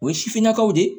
O ye sifinnakaw de ye